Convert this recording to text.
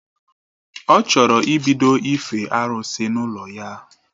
Ọ chọrọ ịbido ife arụsị n’ụlọ ya